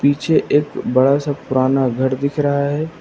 पीछे एक बड़ा सा पुराना घर दिख रहा है।